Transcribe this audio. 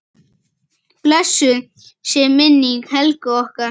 Blessuð sé minning Helgu okkar.